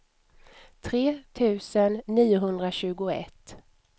tre tusen niohundratjugoett